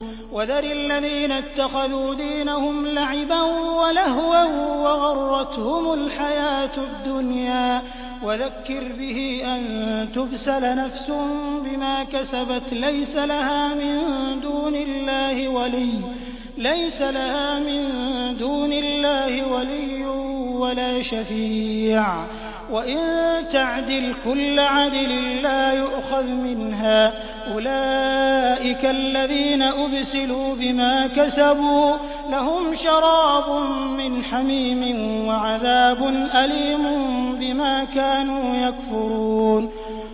وَذَرِ الَّذِينَ اتَّخَذُوا دِينَهُمْ لَعِبًا وَلَهْوًا وَغَرَّتْهُمُ الْحَيَاةُ الدُّنْيَا ۚ وَذَكِّرْ بِهِ أَن تُبْسَلَ نَفْسٌ بِمَا كَسَبَتْ لَيْسَ لَهَا مِن دُونِ اللَّهِ وَلِيٌّ وَلَا شَفِيعٌ وَإِن تَعْدِلْ كُلَّ عَدْلٍ لَّا يُؤْخَذْ مِنْهَا ۗ أُولَٰئِكَ الَّذِينَ أُبْسِلُوا بِمَا كَسَبُوا ۖ لَهُمْ شَرَابٌ مِّنْ حَمِيمٍ وَعَذَابٌ أَلِيمٌ بِمَا كَانُوا يَكْفُرُونَ